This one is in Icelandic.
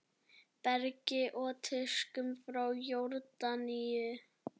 Bergi og tuskum frá Jórdaníu!